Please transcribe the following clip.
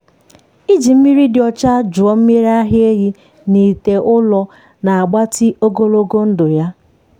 iji mmiri dị ọcha jụọ mmiri ara ehi n’ite ụrọ na-agbatị ogologo ndụ ya.